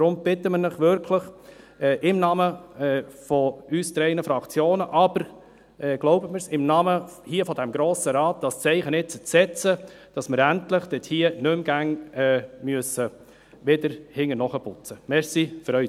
Deshalb bitten wir Sie ausdrücklich, im Namen unserer drei Fraktionen, aber glauben Sie mir, auch im Namen des Grossen Rates, dieses Zeichen jetzt zu setzen, damit wir nicht mehr hinterher ausbessern müssen.